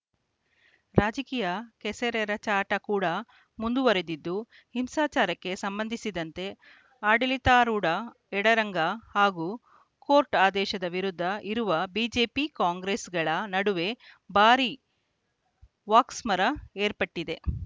ರಾಜಕೀಯ ಕೆಸರೆರಚಾಟ ಕೂಡ ಮುಂದುವರಿದಿದ್ದು ಹಿಂಸಾಚಾರಕ್ಕೆ ಸಂಬಂಧಿಸಿದಂತೆ ಆಡಳಿತಾರೂಢ ಎಡರಂಗ ಹಾಗೂ ಕೋರ್ಟ್‌ ಆದೇಶದ ವಿರುದ್ಧ ಇರುವ ಬಿಜೆಪಿ ಕಾಂಗ್ರೆಸ್‌ಗಳ ನಡುವೆ ಭಾರೀ ವಾಕ್ಸಮರ ಏರ್ಪಟ್ಟಿದೆ